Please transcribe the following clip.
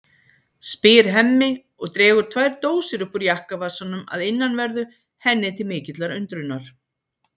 spyr Hemmi og dregur tvær dósir upp úr jakkavasanum að innanverðu henni til mikillar undrunar.